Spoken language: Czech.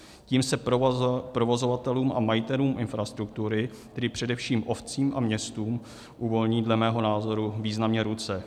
Tím se provozovatelům a majitelům infrastruktury, tedy především obcím a městům, uvolní dle mého názoru významně ruce.